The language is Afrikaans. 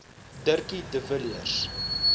dirkie de villiers